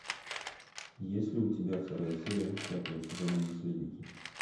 есть ли у тебя вторая серия пятого сезона наследники